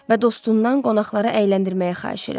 Və dostundan qonaqları əyləndirməyə xahiş elədi.